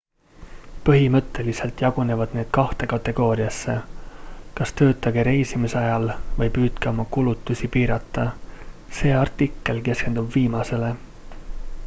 põhimõtteliselt jagunevad need kahte kategooriasse kas töötage reisimise ajal või püüdke oma kulutusi piirata see artikkel keskendub viimasele